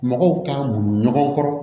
Mɔgɔw k'a boli ɲɔgɔn kɔrɔ